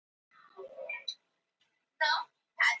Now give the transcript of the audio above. Richard var æ oftar í burtu í slagtogi við ungt fólk á næstu bæjum.